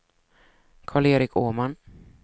Karl-Erik Åman